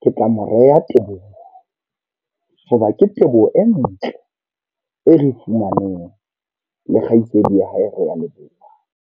ke tla mo reha Teboho. Hobane ke teboho e ntle e re fumaneng le kgaitsedi ya hae Realeboha.